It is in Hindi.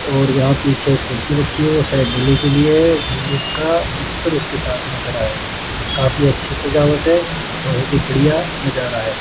और यहां पीछे कुर्सी रखी है शायद के लिए मित्र उसके साथ में खड़ा है काफी अच्छी सजावट है बहुत ही बढ़िया नजारा है।